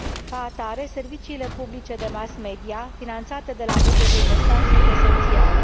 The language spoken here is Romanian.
Ca atare, serviciile publice de mass media, finanțate de la bugetul de stat, sunt esențiale.